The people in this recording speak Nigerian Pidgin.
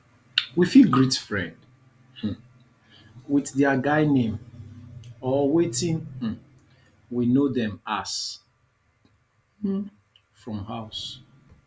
we fit greet greet friend um with their guy name or wetin um we know dem as um from house